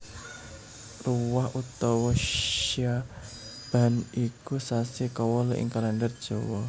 Ruwah utawa Sya ban iku sasi kawolu ing Kalèndher Jawa